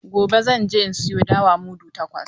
Gobe zan je in sayo dawa mudu takwas.